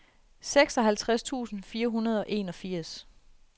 seksoghalvtreds tusind fire hundrede og enogfirs